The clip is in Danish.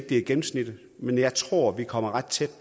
det er gennemsnittet men jeg tror at vi kommer ret tæt